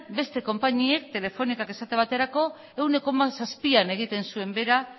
beste konpainiek telefonikak esate baterako ehuneko zero koma zazpian egiten zuen behera